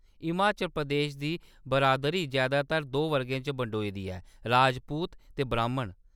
हिमाचल प्रदेश दी बरादरी जैदातर दो वर्गें च बंडोई दी ऐ : राजपूत ते ब्राह्‌‌मन।